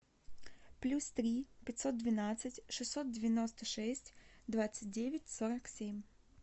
плюс три пятьсот двенадцать шестьсот девяносто шесть двадцать девять сорок семь